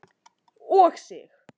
og Sig.